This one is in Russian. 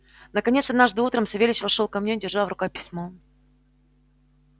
наконец однажды утром савельич вошёл ко мне держа в руках письмо